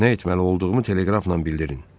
Nə etməli olduğumu teleqrafla bildirin.